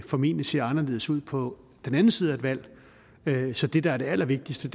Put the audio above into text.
formentlig anderledes ud på den anden side af et valg så det der er det allervigtigste